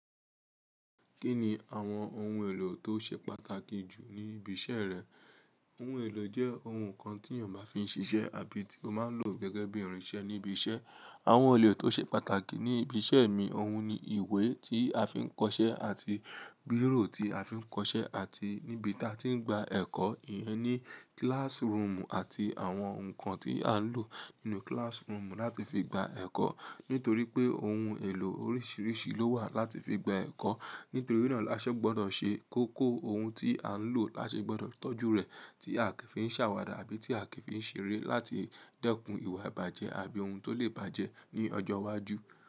Kí ni àwọn ohun èlò tó ṣe pàtàkì jù ní ibi iṣẹ́ rẹ? Ohun èlò jẹ́ ohun kan tí ènìyàn máa fi ń ṣiṣẹ́ àbí tí ó máa ń lò gẹ́gẹ́ bí iranse ní ibi iṣẹ́. Àwọn ohun èlò tó ṣe pàtàkì ní ibi iṣẹ́ mi, ohun ni ìwé tí a fi ń kọṣẹ́ àti biro tí a fi ń kọṣẹ́ àti níbi tí a ti ń gba ẹ̀kọ́, ìyẹn ni classroom àti àwọn nǹkan tí à ń lò nínú classroom láti fi gba ẹ̀kọ́. Nítorí pé ohun èlò oríṣiríṣi ló wà láti fi gba ẹ̀kọ́, nítorí náà la ṣe gbọdọ̀ ṣe kókó ohun tí à ń lò, la ṣe gbọdọ̀ toju rẹ̀ tí a kì í fi ń ṣàwàdà àbí tí a kì í fi ń ṣe ere láti dẹ́kun ìwà ìbàjẹ́ àbí ohun tó lè bàjẹ́ ní ọjọ́ iwájú.